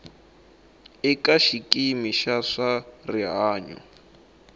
eka xikimi xa swa rihanyo